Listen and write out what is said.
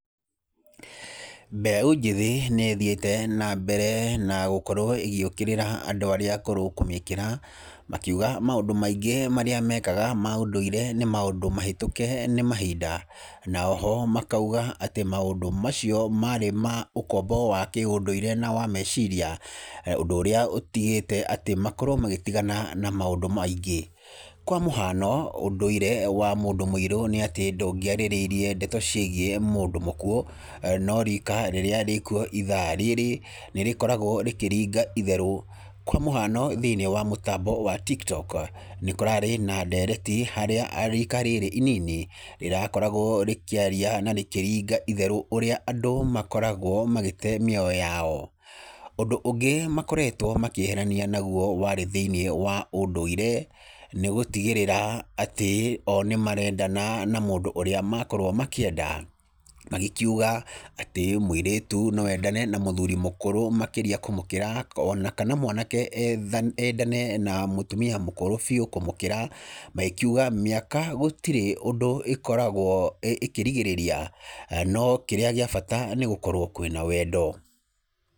Mbeũ njĩthĩ nĩĩthiĩte na mbere gũkorwo ĩgĩũkĩrĩra andũa arĩa akũrũ kũmĩkĩra makiuga maũndũ maingĩ marĩa mekaga ma ũndũire nĩ maũndũ mahĩtũke nĩ mahinda, na oho makauga atĩ maũndũ macio marĩ ma ũkombo wa kĩũndũire na wa meciria, ũndũ ũrĩa ũtigĩte atĩ makorwo magĩtigana na maũndũ maingĩ, kwa mũhano ũndũire wa mũndũ mũirũ nĩatĩ ndũngĩarĩrĩrie ndeto ciĩgiĩ mũndũ mũkuũ, no rika rĩrĩa rĩkuo ithaa rĩrĩ nĩrkoragwo rĩkĩringa itherũ, kwa mũhano thĩiniĩ wa mũtambo wa TikTok nĩkũrarĩ na ndereti harĩa rika rĩrĩ inini rĩrakoragwo rĩkĩaria na rĩkĩringa itherũ ũrĩa andũ makoragwo magĩte mĩoyo yao. Ũndũ ũngĩ makoretwo makĩerehania naguo warĩ thĩiniĩ wa ũndũire nĩgũtigĩrĩra atĩ o nĩmarendana na mũndũ ũrĩa makorwo makĩenda, magĩkiuga atĩ mũirĩtu no endane na mũthuri mũkũrũ makĩria kũmũkĩra ona kana mwanake endane na mũtumia mũkũrũ biũ kũmũkĩra magĩkiuga mĩaka gũtirĩ ũndũ ĩkoragwo ĩkĩrigĩrĩria no kĩrĩa gĩa bata nĩgũkorwo kwĩna wendo.